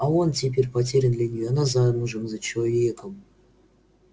а он теперь потерян для неё она замужем за человеком